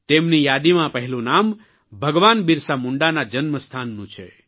તેમની યાદીમાં પહેલું નામ ભગવાન બિરસા મુંડાના જન્મસ્થાનનું છે